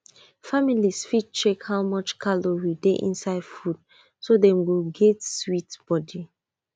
family fit check how much calorie dey inside food so dem go get sweet body